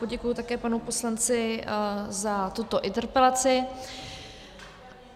Poděkuji také panu poslanci za tuto interpelaci.